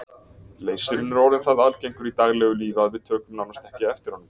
Leysirinn er orðinn það algengur í daglegu lífi að við tökum nánast ekki eftir honum.